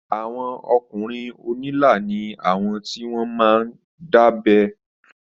Àwọn ọkùnrin onila ni awọn ti wọn máa ń dábẹ́